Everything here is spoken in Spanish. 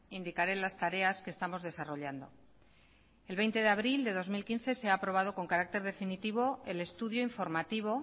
indicaré las tareas que estamos desarrollando el veinte de abril de dos mil quince se ha aprobado con carácter definitivo el estudio informativo